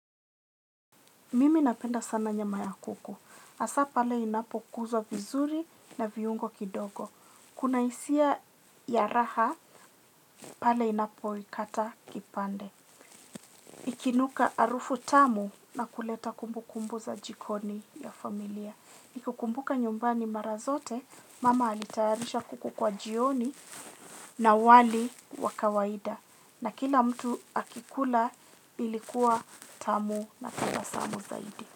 Mimi napenda sana nyama ya kuku. Hasa pale inapokuzwa vizuri na viungo kidogo. Kuna hisia ya raha, pale inapoikata kipande. Ikinuka arufu tamu na kuleta kumbu kumbu za jikoni ya familia. Nikikukumbuka nyumbani mara zote, mama alitayarisha kuku kwa jioni na wali wa kawaida. Na kila mtu akikula ilikuwa tamu na tabasamu zaidi.